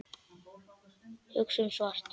Hugsum svart.